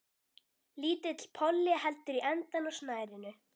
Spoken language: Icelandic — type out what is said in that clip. Lítill polli heldur í endann á snærinu.